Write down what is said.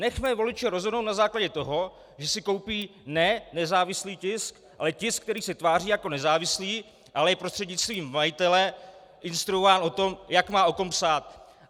Nechme voliče rozhodnout na základě toho, že si koupí ne nezávislý tisk, ale tisk, který se tváří jako nezávislý, ale je prostřednictvím majitele instruován o tom, jak má o kom psát.